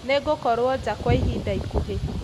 Nĩngũkorwo nja kwa ihinda ikuhĩ